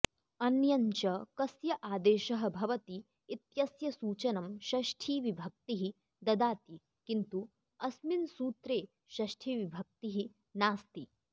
अन्यञ्च कस्य आदेशः भवति इत्यस्य सूचनं षष्ठीविभक्तिः ददाति किन्तु अस्मिन् सूत्रे षष्ठिविभक्तिः नास्ति